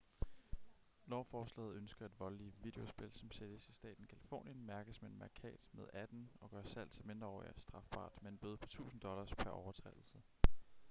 lovforslaget ønsker at voldelige videospil som sælges i staten californien mærkes med en mærkat med 18 og gør salg til mindreårige strafbart med en bøde på 1000$ pr overtrædelse